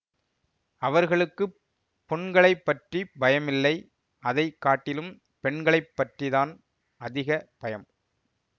அவர்களுக்கு புண்களைப் பற்றி பயமில்லை அதை காட்டிலும் பெண்களைப் பற்றி தான் அதிக பயம்